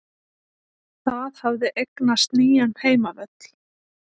Það hafði eignast nýjan heimavöll.